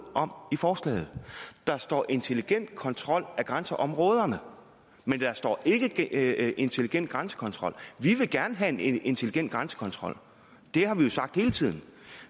om i forslaget der står intelligent kontrol af grænseområderne men der står ikke intelligent grænsekontrol vi vil gerne have en intelligent grænsekontrol det har vi sagt hele tiden